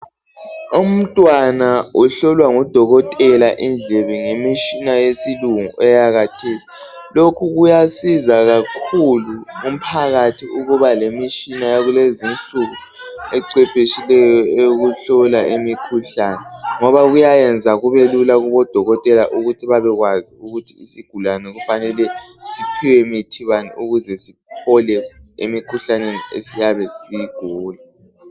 Umntwana uhlolwa ngudokotela indlebe ngomtshina yesilungu eyakathesi, lokhu kuyasiza kakhulu umphakathi ukuba lemitshina yakulezi insuku ecwephetshileyo ehlola imikhulane ngoba kuyayenza kube lula kudokotela ukuthi babekwazi isigulane sifanele siphiwe mithi bani ukuze sisile emikhuhlaneni esiyabe siyigula.